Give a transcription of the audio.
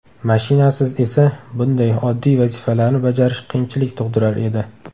Mashinasiz esa, bunday oddiy vazifalarni bajarish qiyinchilik tug‘dirar edi.